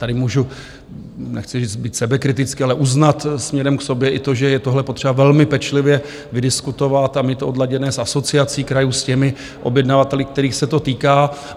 Tady můžu, nechci říct být sebekritický, ale uznat směrem k sobě i to, že je tohle potřeba velmi pečlivě vydiskutovat a mít to odladěné s Asociací krajů, s těmi objednavateli, kterých se to týká.